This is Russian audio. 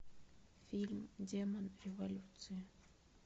фильм демон революции